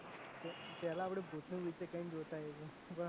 પેલા આપણે ભૂત નું picture જોતા એ નહિ